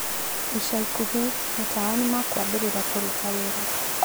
Ica ikuhĩ, matawa nĩmakwambĩrĩria kũrũta wĩra